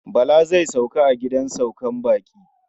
Bala zai sauka a gidan saukar baƙi.